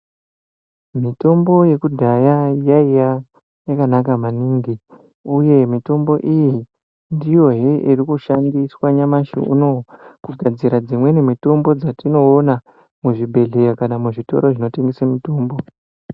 Mitombo yekudhaya yaiya yakanaka maningi. Uye mitombo iyi ndiyo he iri kushandiswa nyamashi unowu kugadzira dzimweni mitombo dzatinoona muzvibhedhlera kana muzvitoro zvinotengesa mitombo.